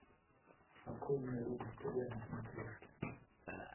открой мне рубль тв на смотрешке